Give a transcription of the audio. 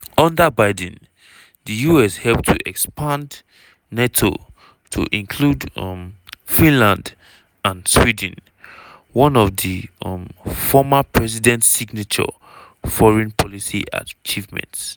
under biden the us help to expand nato to include um finland and sweden – one of di um former president signature foreign policy achievements.